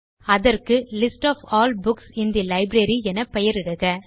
அதற்கு list of all books in the library என பெயரிடுக